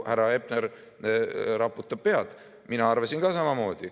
Härra Hepner raputab pead, mina arvasin ka samamoodi.